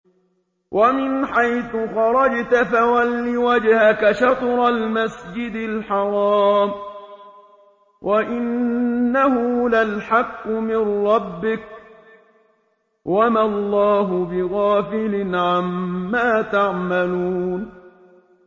وَمِنْ حَيْثُ خَرَجْتَ فَوَلِّ وَجْهَكَ شَطْرَ الْمَسْجِدِ الْحَرَامِ ۖ وَإِنَّهُ لَلْحَقُّ مِن رَّبِّكَ ۗ وَمَا اللَّهُ بِغَافِلٍ عَمَّا تَعْمَلُونَ